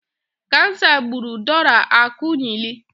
Kansa gburu Dora Akunyili.